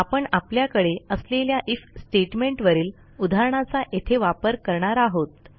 आपण आपल्याकडे असलेल्या आयएफ स्टेटमेंट वरील उदाहरणाचा येथे वापर करणार आहोत